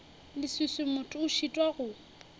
leswiswi motho a šitwa go